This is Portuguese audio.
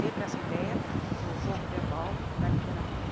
Sempre essa ideia do jogo verbal da literatura.